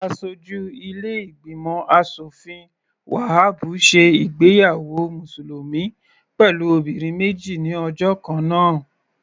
Aṣojú ilé ìgbìmọ̀ aṣòfin Wahabu ṣe ìgbéyàwó mùsùlùmí pẹ̀lú obìnrin méjì ní ọjọ́ kannáà.